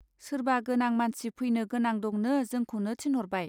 सोरबा गोनां मानसि फैनो गोनां दंनो जोंखौनो थिनहरबाय.